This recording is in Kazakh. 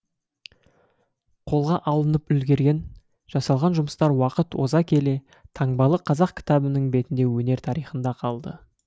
қолға алынып үлгерген жасалған жұмыстар уақыт оза келе таңбалы қазақ кітабының бетінде өнер тарихында қалды